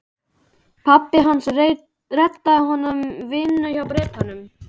Pabbi hans reddaði honum vinnu hjá Bretanum.